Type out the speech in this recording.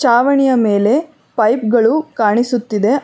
ಚಾವಣಿಯ ಮೇಲೆ ಪೈಪ್ ಗಳು ಕಾಣಿಸುತ್ತಿದೆ.